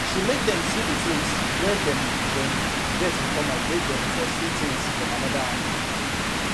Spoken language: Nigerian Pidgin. she make dem see the things wey dem dem get in common make dem for see things from another angle